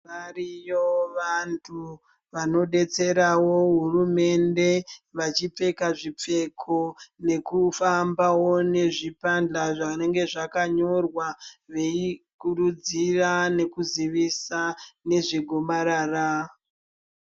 Variyo vantu vanobetseravo hurumende vachipfeka zvipfeko nekufambavo nezvipanjwa zvinenge zvakanyorwa. Vekurudzira nekuzivisa nezve gomarara.